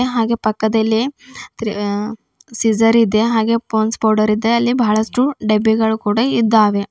ಹಾಗೆ ಪಕ್ಕದಲ್ಲೇ ಆ ಸಿಸರ್ ಇದೆ ಹಾಗೆ ಪಾಂಡ್ಸ್ ಪೌಡರ್ ಇದೆ ಹಾಗೆ ಅಲ್ಲಿ ಬಹಳಷ್ಟು ಡಬ್ಬಿಗಳು ಕೂಡ ಇದ್ದಾವೆ.